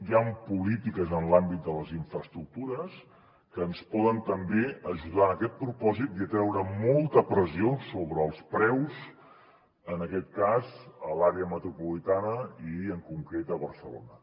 hi han polítiques en l’àmbit de les infraestructures que ens poden també ajudar en aquest propòsit i a treure molta pressió sobre els preus en aquest cas a l’àrea metropolitana i en concret a barcelona